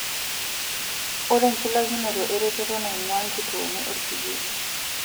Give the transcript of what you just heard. Etii enchulakinoto eretoto naing'uaa nkituoni olkijiji.